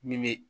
Min bɛ